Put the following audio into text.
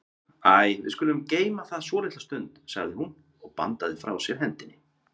Æi, við skulum geyma það svolitla stund, sagði hún og bandaði frá sér hendinni.